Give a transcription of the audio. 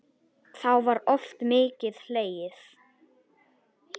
Þá var oft mikið hlegið.